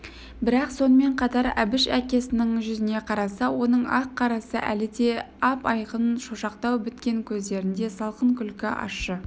бірақ сонымен қатар әбіш әкесінің жүзіне қараса оның ақ-қарасы әлі де ап-айқын шошақтау біткен көздерінде салқын күлкі ащы